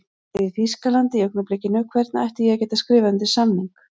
Ég er í Þýskalandi í augnablikinu, hvernig ætti ég að geta skrifað undir samning?